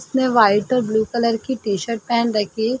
उसने वाइट और blue colour की टी शर्ट पहन रखी है।